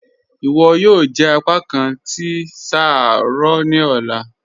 "Iwọ yóò jẹ apàkán tí ṣáárọ̀ ní ọ̀lá."